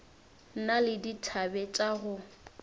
na le dithabe tša go